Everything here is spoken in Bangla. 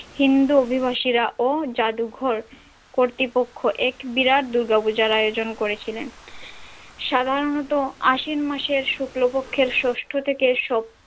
হিন্দু অভিবাসীরা ও যাদুঘর কর্তৃপক্ষ এক বিরাট দূর্গাপূজার আয়োজন করেছিলেন সাধারণত আশ্বিন মাসের শুক্লপক্ষের ষষ্ঠ থেকে।